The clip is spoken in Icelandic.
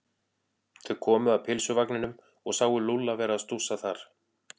Þau komu að pylsuvagninum og sáu Lúlla vera að stússa þar.